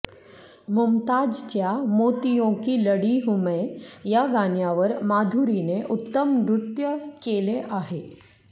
मुमताजच्या मोतीयों की लडी हूँ मै या गाण्यावर माधुरींने उत्तम नृत्य केले आहे